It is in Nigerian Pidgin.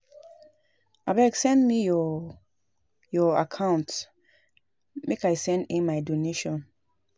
Abeg send me your your account number make I send in my donation